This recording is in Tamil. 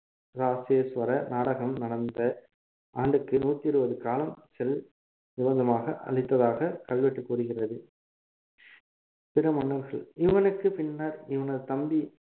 ராசேசுவர நாடகம் நடந்த ஆண்டுக்கு நூத்தி இருபது காலம் செல் நிவந்தமாக அளித்ததாக கல்வெட்டு கூறுகிறது பிற மன்னர்கள் இவனுக்கு பின்னர் இவனது தம்பி